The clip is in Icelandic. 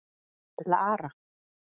Lara